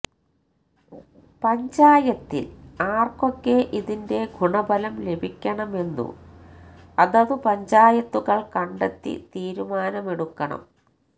പഞ്ചായത്തില് ആര്ക്കൊക്കെ ഇതിന്റെ ഗുണഫലം ലഭിക്കണമെന്നു അതതു പഞ്ചായത്തുകള് കണ്ടെത്തി തീരുമാനമെടുക്കണം